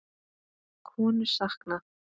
Konu saknað